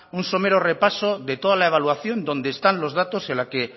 un somero repaso de toda la evaluación donde están los datos la que